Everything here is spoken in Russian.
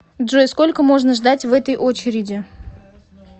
джой сколько можно ждать в этой очереди